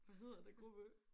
Hvad hedder den gruppe?